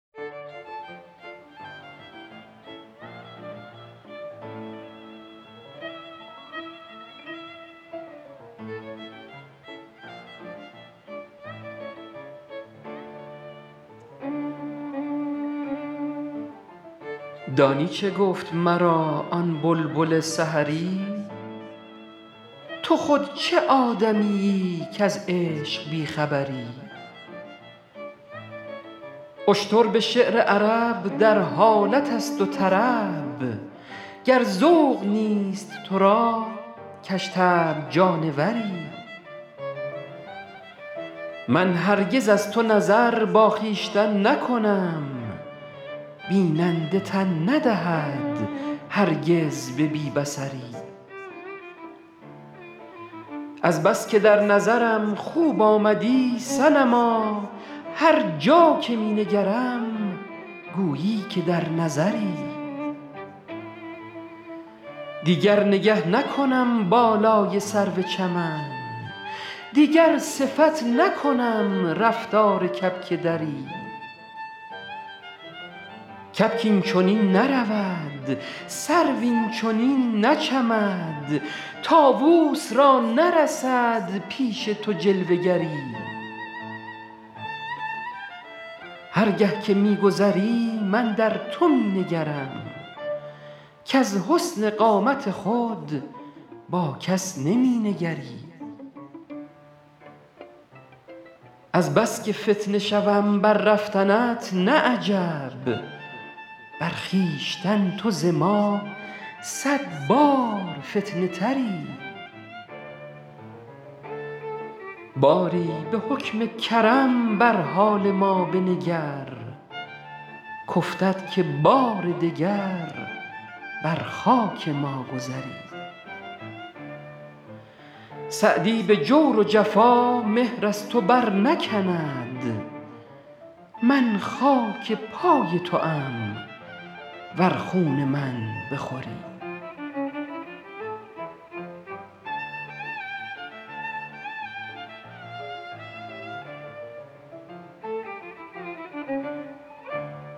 دانی چه گفت مرا آن بلبل سحری تو خود چه آدمیی کز عشق بی خبری اشتر به شعر عرب در حالت است و طرب گر ذوق نیست تو را کژطبع جانوری من هرگز از تو نظر با خویشتن نکنم بیننده تن ندهد هرگز به بی بصری از بس که در نظرم خوب آمدی صنما هر جا که می نگرم گویی که در نظری دیگر نگه نکنم بالای سرو چمن دیگر صفت نکنم رفتار کبک دری کبک این چنین نرود سرو این چنین نچمد طاووس را نرسد پیش تو جلوه گری هر گه که می گذری من در تو می نگرم کز حسن قامت خود با کس نمی نگری از بس که فتنه شوم بر رفتنت نه عجب بر خویشتن تو ز ما صد بار فتنه تری باری به حکم کرم بر حال ما بنگر کافتد که بار دگر بر خاک ما گذری سعدی به جور و جفا مهر از تو برنکند من خاک پای توام ور خون من بخوری